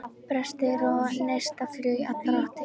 Brestir og neistaflug í allar áttir.